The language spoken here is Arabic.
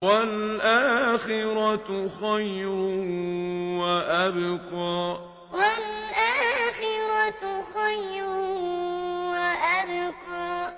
وَالْآخِرَةُ خَيْرٌ وَأَبْقَىٰ وَالْآخِرَةُ خَيْرٌ وَأَبْقَىٰ